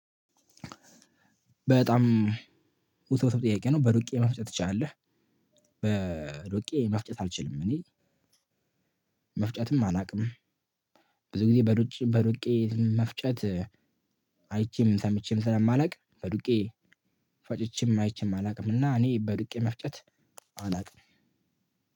በጣም ውስብስብ ጥያቄ ነው በዱቄ መፍጨት ትችላለህ? በዱቄ መፍጨት አልችልም እኔ መፍጨትም አላውቅም። ብዙ ጊዜ በሩቄ መፍጨት አይቼም ሰምቼም ስለማላውቅ በዱቄ ፈጨቼም አይቼም አላውቅም። እና እኔ በድቄ መፍጨት አላውቅም።